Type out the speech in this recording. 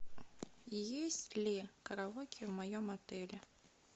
есть ли караоке в моем отеле